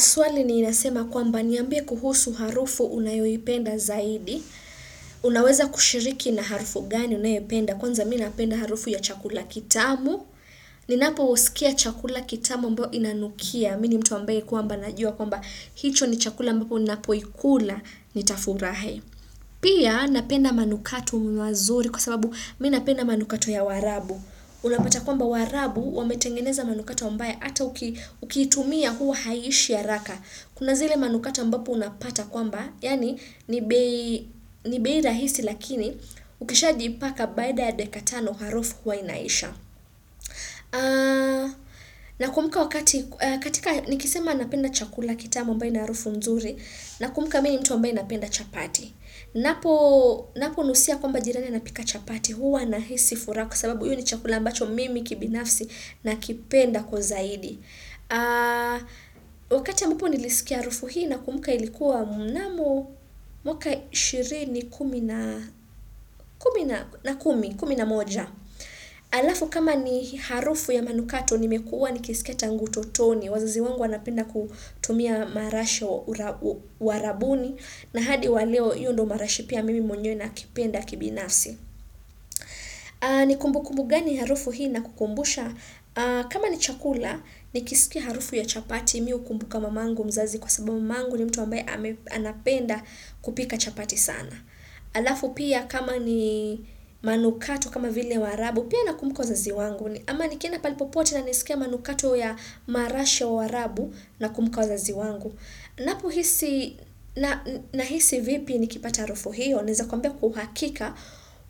Suali niinasema kwamba niambia kuhusu harufu unayoi penda zaidi. Unaweza kushiriki na harufu gani unayoi penda. Kwanza mi napenda harufu ya chakula kitamu. Ninapo usikia chakula kitamu mbao inanukia. Mini mtu ambaye kwamba najua kwamba hicho ni chakula mbao unapoikula nitafurahe. Pia napenda manukatu mwazuri kwa sababu minapenda manukatu ya warabu. Unapata kwamba warabu wametengeneza manukatu ambae ata ukitumia huu haishi ya haraka. Kuna zile manukatu mbapo unapata kwamba, yani nibei ra hisi lakini ukishaji ipaka baida ya dekatano harofu kwa inaisha. Na kumuka wakati, katika nikisema napenda chakula kitama ambae ina harofu nzuri, na kumuka mimi ni mtu ambae napenda chapati. Napo nusia kwamba jirane na pika chapati huwa na hisi fura kwa sababu iyu ni chakulambacho mimi kibinafsi na kipenda kwa zaidi Wakati yambapo nilisikia aufu hii na kumuka ilikuwa mnamo mwaka shiri ni kumi na kumi na moja Alafu kama ni harufu ya manukato nimekua nikisikia tangu to toni wazazi wangu wanapenda kutumia marashi wa rabuni na hadi waleo yu ndo marashi pia mimi mwenye na kipenda kibinafsi. Ni kumbu kumbu gani harufu hii na kukumbusha? Kama ni chakula, nikisikia harufu ya chapati miu kumbuka mamangu mzazi kwa sababu mangu ni mtu ambaye anapenda kupika chapati sana. Alafu pia kama ni manukatu kama vile warabu, pia nakumbuka wazazi wangu. Ama nikienda palipopote na nisikiya manukatu ya marashi ya warabu na kumbuka wa zazi wangu. Na hisi vipi nikipata rofo hiyo, neza kuambia kuhakika,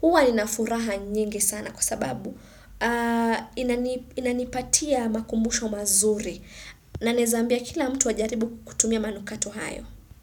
uwa ninafuraha nyingi sana kwa sababu inanipatia makumbusho mazuri. Na neza ambia kila mtu wajaribu kutumia manu kato hayo.